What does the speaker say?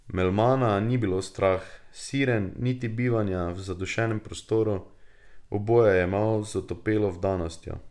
Melmana ni bilo strah siren niti bivanja v zadušnem prostoru, oboje je jemal z otopelo vdanostjo.